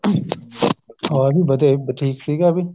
ਹਾਂ ਜੀ ਵਧੀਆ ਜੀ ਠੀਕ ਸੀਗਾ ਇਹ ਵੀ